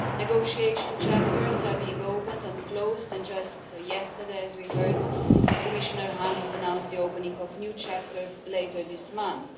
Negotiation chapters are being opened and closed and just yesterday, as we heard, Commissioner Hahn has announced the opening of new chapters later this month.